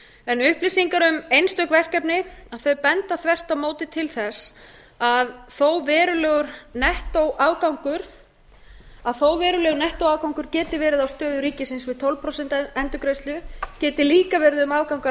en upplýsingar um einstök verkefni benda þvert á móti til þess að þó verulegur nettóafgangur geti verið á stöðu ríkisins við tólf prósent endurgreiðslu geti líka verið um afgang að